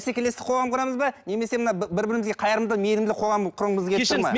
қоғам құрамыз ба немесе мына бір бірімізге қайырымды мейрімді қоғам құрғымыз келіп тұр ма